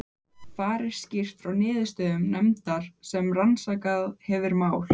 Þar er skýrt frá niðurstöðum nefndar sem rannsakað hefur mál